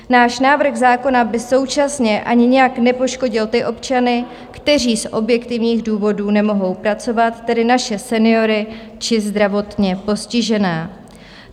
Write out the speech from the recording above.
Náš návrh zákona by současně ani nijak nepoškodil ty občany, kteří z objektivních důvodů nemohou pracovat, tedy naše seniory či zdravotně postižené.